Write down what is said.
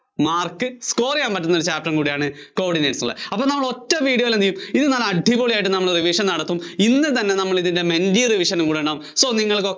Mark Score ചെയ്യാൻ പറ്റുന്ന chapter കൂടെയാണ് coordinates എന്നുള്ളത് അപ്പോ നമ്മൾ ഒറ്റ video യിൽ എന്ത് ചെയ്യും ഇന്ന് നമ്മൾ അടിപൊളിയായിട്ട് revision നടത്തും ഇന്ന് തന്നെ revision ഇടണം so നിങ്ങള്‍ക്ക്